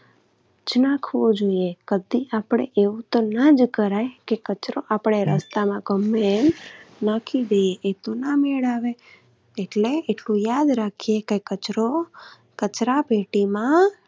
જ નાખવો જોઈએ કે આપણે એવું તો ના જ કરાય કે રસ્તામાં ગમે એમ નાખી દઈએ. એ તો ના મેળ આવે એટલે એટલું યાદ રાખીએ કે કચરો કચરાપેટીમાં